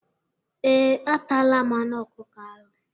Ee, ataala m anụ ọkụkọ ahụ.